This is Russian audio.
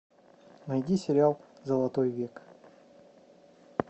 найди сериал золотой век